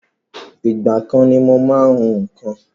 Ìgbà kan ni mo má ń hún nǹkan